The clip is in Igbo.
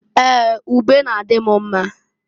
Ee! Ube n'adị m mma.